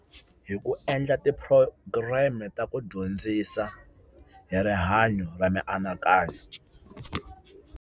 Hi ku endla ti-program-i ta ku dyondzisa hi rihanyo ra mianakanyo.